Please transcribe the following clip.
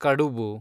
ಕಡುಬು